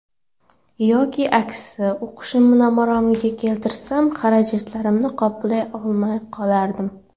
Yoki aksi, o‘qishimni maromiga keltirsam, xarajatlarimni qoplay olmay qolardim.